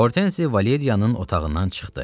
Hortenzi Valeriyanın otağından çıxdı.